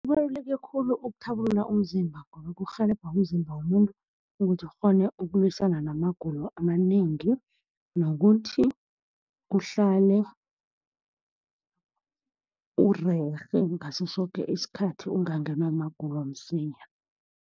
Kubaluleke khulu ukuthabulula umzimba ngoba kurhelebha umzimba womuntu, ukuthi ukghone ukulwisana namagulo amanengi, nokuthi uhlale urerhe ngaso soke isikhathi. Ungangenwa magulo msinya.